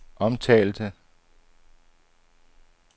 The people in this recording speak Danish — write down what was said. omtalte